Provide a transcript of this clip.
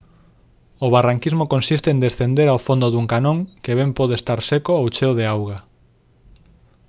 o barranquismo consiste en descender ao fondo dun canón que ben pode estar seco ou cheo de auga